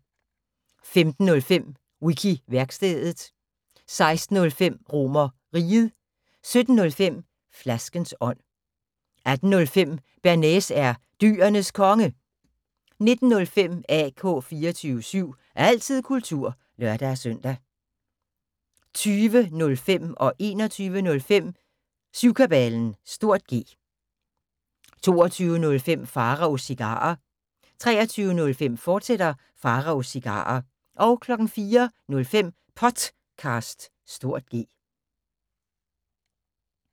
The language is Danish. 15:05: Wiki-værkstedet 16:05: RomerRiget 17:05: Flaskens ånd 18:05: Bearnaise er Dyrenes Konge 19:05: AK 24syv – altid kultur (lør-søn) 20:05: Syvkabalen (G) 21:05: Syvkabalen (G) 22:05: Pharaos Cigarer 23:05: Pharaos Cigarer, fortsat 04:05: Potcast (G)